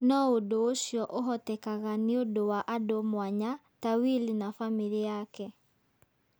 No ũndũ ũcio ũhotekaga nĩ ũndũ wa andũ mũanya ta Will na famĩlĩ yake".